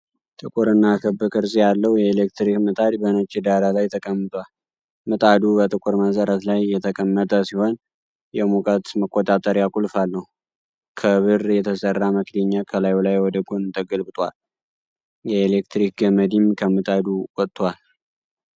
ጥቁርና ክብ ቅርጽ ያለው የኤሌክትሪክ ምጣድ በነጭ ዳራ ላይ ተቀምጧል። ምጣዱ በጥቁር መሰረት ላይ የተቀመጠ ሲሆን፣ የሙቀት መቆጣጠሪያ ቁልፍ አለው። ከብር የተሠራ መክደኛ ከላዩ ላይ ወደ ጎን ተገልብጦአል፣ የኤሌክትሪክ ገመድም ከምጣዱ ወጥቷል።